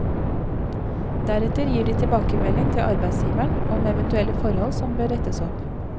Deretter gir de tilbakemelding til arbeidsgiveren om eventuelle forhold som bør rettes opp.